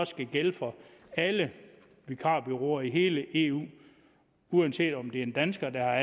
skal gælde for alle vikarbureauer i hele eu uanset om det er en dansker der